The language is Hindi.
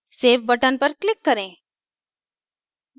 सेव button पर click करें